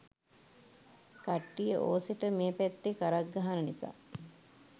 කට්ටිය ඕසෙට මේ පැත්තෙ කරක්ගහන නිසා